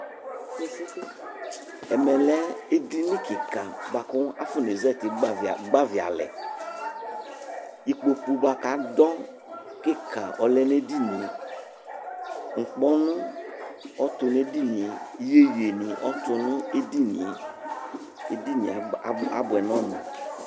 Ɛmɛ lɛ edinì kika bua ku afɔné zati gbavialɛ, ikpoku bua k'atɛ kika ɔlɛ n'edinìe, ikpɔnu ɔtu n'edinìe, iyieyie ɔtu edinìe abuɛ n'ɔmu